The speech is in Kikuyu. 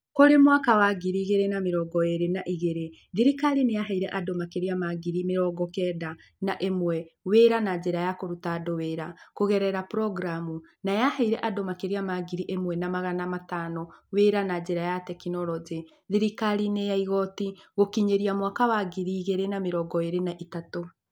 Kũrĩ mwaka wa ngiri igĩrĩ na mĩrongo ĩĩrĩ na igĩrĩ na igĩrĩ, thirikari nĩ yaheire andũ makĩria ma ngiri mĩrongo kenda na ĩmwe wĩra na njĩra ya kũruta andũ wĩra kũgerera programu, na yaheire andũ makĩria ma ngiri ĩmwe na magana matano wĩra na njĩra ya tekinoronjĩ thirikari-inĩ ya igoti gũkinyĩria mwaka wa ngiri igĩrĩ na mĩrongo ĩĩrĩ na ĩtatũ.